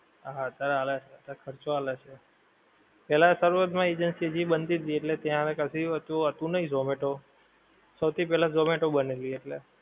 હા અત્યારે આલે છે, એટલે ખર્ચો આલે છે. પહેલા શરૂઆત માં agency હજી બનતી તી એટલે ત્યાં કદી એટલું આલતું નહિ ઝોમેટો. સૌથી પહેલા ઝોમેટો બનેલી એટલે.